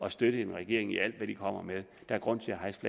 at støtte en regering i alt hvad den kommer med der er grund til at hejse